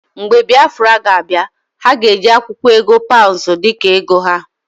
Mgbe Biafra ga abia, ha ga-eji akwụkwọ ego paụnsụ dika ego ha.